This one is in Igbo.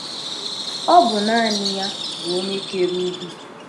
Ọ bụ naanị ya bụ Onye kere ugwu.